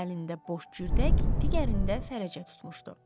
Bir əlində boş cürdək, digərində fərəcə tutmuşdu.